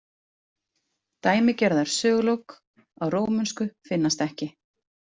Dæmigerðari sögulok á rómönsu finnast ekki.